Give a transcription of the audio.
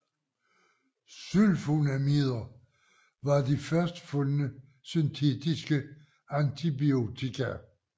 Sulfonamider var de først fundne syntetiske antibiotika